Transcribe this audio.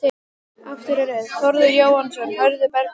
Aftari röð: Þórður Jóhannsson, Hörður Bergmann